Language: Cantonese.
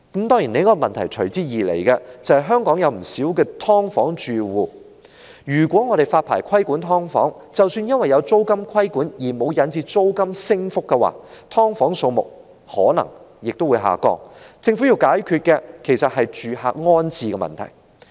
當然，隨之而來的另一個問題是，香港有不少"劏房"住戶，如果發牌規管"劏房"，即使因為有租金規管而沒有引致租金上升，"劏房"數目可能亦會下降，而政府要解決的其實是住客的安置問題。